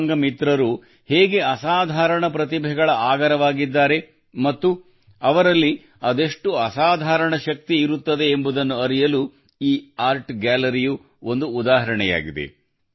ದಿವ್ಯಾಂಗ ಮಿತ್ರರು ಹೇಗೆ ಅಸಾಧಾರಣ ಪ್ರತಿಭೆಗಳ ಆಗರವಾಗಿದ್ದಾರೆ ಮತ್ತು ಅವರಲ್ಲಿ ಅದೆಷ್ಟು ಅಸಾಧಾರಣ ಶಕ್ತಿ ಇರುತ್ತದೆ ಎಂಬುದನ್ನು ಅರಿಯಲು ಈ ಆರ್ಟ್ ಗ್ಯಾಲರಿಯು ಒಂದು ಉದಾಹರಣೆಯಾಗಿದೆ